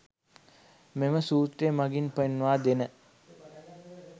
මෙම සූත්‍රය මගින් පෙන්වාදෙන